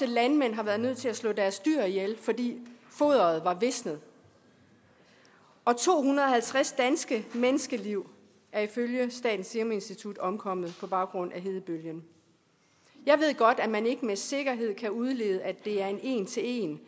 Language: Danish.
landmænd har været nødt til at slå deres dyr ihjel fordi foderet var visnet og to hundrede og halvtreds danske menneskeliv er ifølge statens serum institut omkommet på baggrund af hedebølgen jeg ved godt at man ikke med sikkerhed kan udlede at det er en en til en